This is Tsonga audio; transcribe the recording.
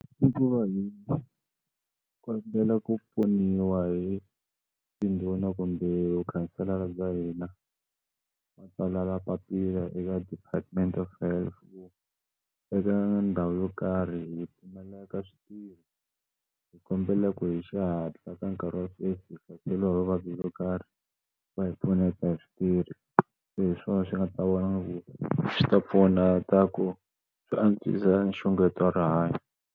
I ku va hi kombela ku pfuniwa hi tindhuna kumbe mukhanselara bya hina ma tsalela papila eka department of health eka ndhawu yo karhi hi pfumaleka swi tirha hi kombela ku hi xihatla ka nkarhi wa sweswi hi hlaseriwa hi vuvabyi byo karhi va hi pfuneka hi switirhi se hi swona swi nga ta vona ku swi ta pfuna ta ku swi antswisa nxungeto wa rihanyo.